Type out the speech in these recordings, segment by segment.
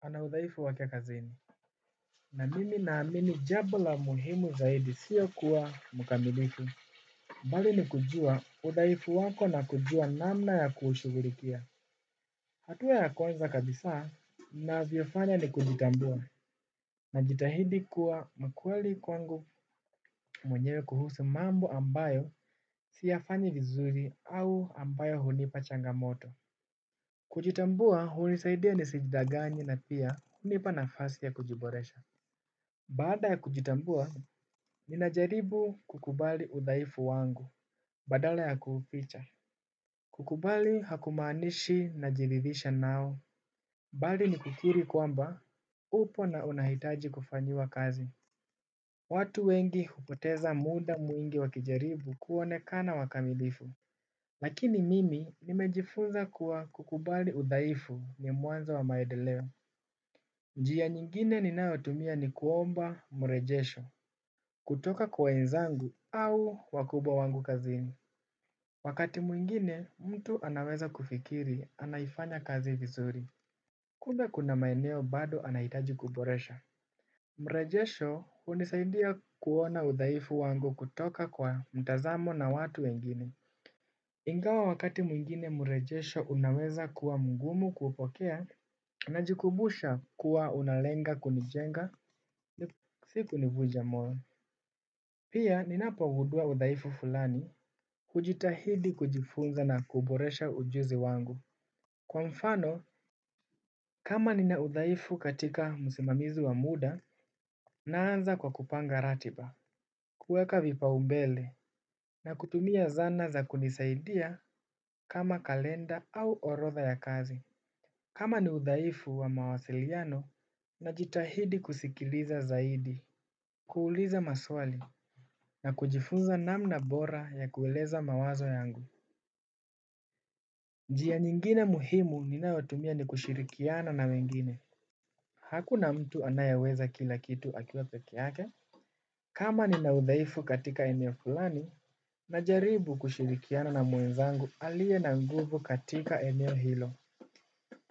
Ana udhaifu wake kazini. Na mimi naamini jambo la muhimu zaidi sio kuwa mkamilifu. Bali ni kujua udhaifu wako na kujua namna ya kuushughulikia. Hatua ya kwanza kabisa ninavyofanya ni kujitambua. Najitahidi kuwa mkweli kwangu mwenyewe kuhusu mambo ambayo siyafanyi vizuri au ambayo hunipa changamoto. Kujitambua hunisaidia nisidanganye na pia hunipa nafasi ya kujiboresha. Baada ya kujitambua, ninajaribu kukubali udhaifu wangu, badala ya kuuficha. Kukubali hakumaanishi najiridhisha nao. Bali ni kukiri kwamba, upo na unahitaji kufanyiwa kazi. Watu wengi hupoteza muda mwingi wakijaribu kuonekana wakamilifu. Lakini mimi nimejifunza kuwa kukubali udhaifu ni mwanzo wa maendeleo. Njia nyingine ninayotumia ni kuomba mrejesho. Kutoka kwa wenzangu au wakubwa wangu kazini. Wakati mwingine mtu anaweza kufikiri anaifanya kazi vizuri. Kumbe kuna maeneo bado anahitaji kuboresha. Mrejesho hunisaidia kuona udhaifu wangu kutoka kwa mtazamo na watu wengine. Ingawa wakati mwingine mrejesho unaweza kuwa mgumu kupokea najikumbusha kuwa unalenga kunijenga ni sikunivuja moyo. Pia ninapogundua udhaifu fulani hujitahidi kujifunza na kuboresha ujuzi wangu. Kwa mfano, kama nina udhaifu katika msimamizo wa muda naanza kwa kupanga ratiba. Kuweka vipaumbele na kutumia zana za kunisaidia kama kalenda au orodha ya kazi. Kama ni udhaifu wa mawasiliano najitahidi kusikiliza zaidi. Kuuuliza maswali na kujifunza namna bora ya kueleza mawazo yangu. Njia nyingine muhimu ninayotumia ni kushirikiana na wengine hakuna mtu anayeweza kila kitu akiwa pekee yake ama nina udhaifu katika eneo fulani. Najaribu kushirikiana na mwenzangu aliye na nguvu katika eneo hilo.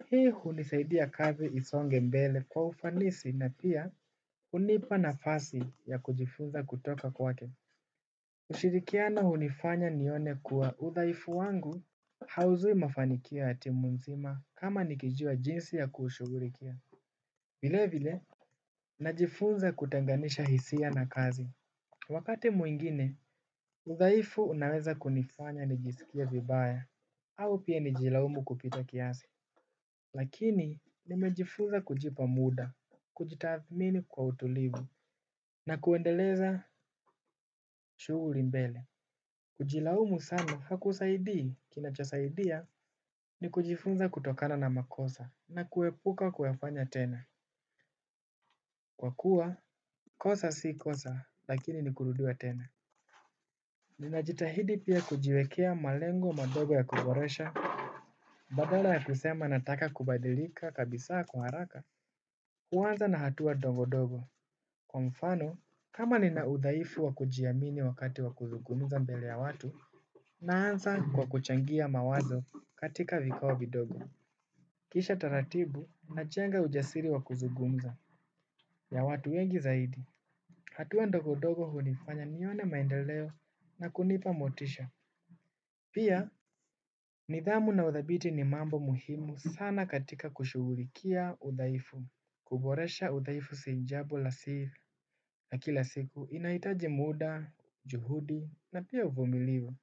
Hii hunisaidia kazi isonge mbele kwa ufanisi na pia hunipa nafasi ya kujifunza kutoka kwake kushirikiana hunifanya nione kuwa udhaifu wangu hauzui mafanikio ya timu nzima kama nikijua jinsi ya kushughulikia vilevile najifunza kutenganisha hisia na kazi. Wakati mwingine udhaifu unaweza kunifanya nijisikiame vibaya au pia nijiilaumu kupita kiasi. Lakini nimejifunza kujipa muda, kujitathmini kwa utulivu na kuendeleza shughuli mbele. Kujilaumu sana hakusaidii kinachosaidia ni kujifunza kutokana na makosa na kuepuka kuyafanya tena. Kwa kuwa, kosa si kosa lakini ni kurudiwa tena. Ninajitahidi pia kujiwekea malengo madogo ya kuboresha. Badala ya kusema nataka kubadilika kabisaa kwa haraka huanza na hatua ndogondogo kwa mfano kama nina udhaifu wa kujiamini wakati wa kuzungumza mbele ya watu naanza kwa kuchangia mawazo katika vikao vidogo. Kisha taratibu najenga ujasiri wa kuzungumza ya watu wengi zaidi. Hatua ndogo ndogo hunifanya nione maendeleo na kunipa motisha. Pia nidhamu na uthabiti ni mambo muhimu sana katika kushughulikia udhaifu. Kuboresha udhaifu si jambo la sivu. Na kila siku inaitaji muda, juhudi na pia uvumilivu.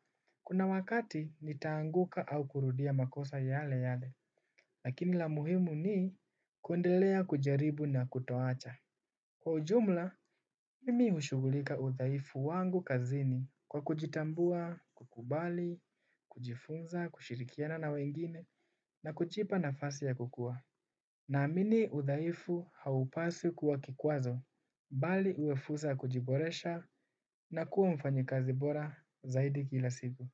Kuna wakati nitaanguka au kurudia makosa yale yale, lakini la muhimu ni kundelea kujaribu na kutoacha. Kwa ujumla, mimi ushugulika udhaifu wangu kazini kwa kujitambua, kukubali, kujifunza, kushirikiana na wengine na kujipa nafasi ya kukua. Naamini udhaifu haupaswi kuwa kikwazo, bali uwe fursa ya kujiboresha na kuwa mfanyikazi bora zaidi kila siku.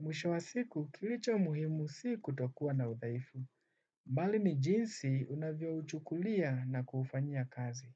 Mwisho wa siku kilicho muhimu si kutokuwa na udhaifu. Bali ni jinsi unavyouchukulia na kufanyia kazi.